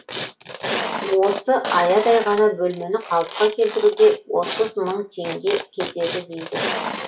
осы аядай ғана бөлмені қалыпқа келтіруге отыз мың теңге кетеді дейді